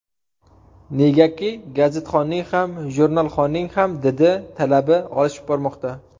Negaki, gazetxonning ham, jurnalxonning ham didi, talabi oshib bormoqda.